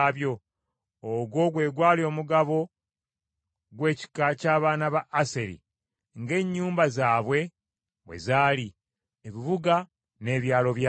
Ogwo gwe gwali omugabo gw’ekika ky’abaana ba Aseri ng’ennyumba zaabwe bwe zaali, ebibuga n’ebyalo byabyo.